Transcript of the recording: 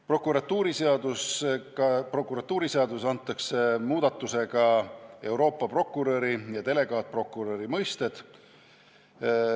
Prokuratuuriseaduses tehtavate muudatustega antakse Euroopa prokuröri ja delegaatprokuröri mõisted.